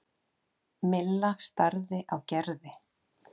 Milla starði á Gerði.